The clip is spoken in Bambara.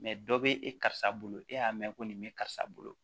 dɔ bɛ e karisa bolo e y'a mɛn ko nin bɛ karisa bolo